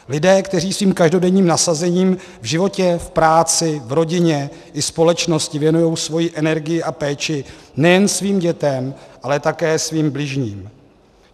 Lidé, kteří svým každodenním nasazením v životě, v práci, v rodině i společnosti věnují svoji energii a péči nejen svým dětem, ale také svým bližním.